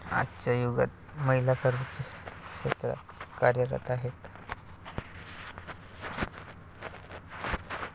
आजच्या युगात महिला सर्वच क्षेत्रात कार्यरत आहेत.